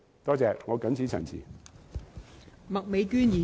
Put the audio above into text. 多謝，我謹此陳辭。